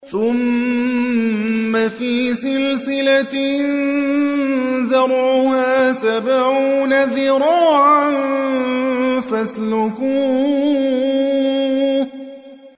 ثُمَّ فِي سِلْسِلَةٍ ذَرْعُهَا سَبْعُونَ ذِرَاعًا فَاسْلُكُوهُ